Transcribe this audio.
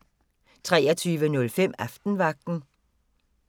23:05: Aftenvagten